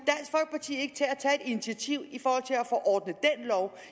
initiativ